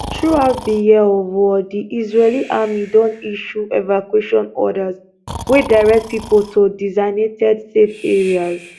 throughout di year of war di israeli army don issue evacuation orders wey direct pipo to designated safe areas